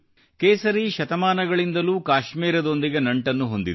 ಕೇಸರಿ ಶತಮಾನಗಳಿಂದಲೂ ಕಾಶ್ಮೀರದೊಂದಿಗೆ ನಂಟನ್ನು ಹೊಂದಿದೆ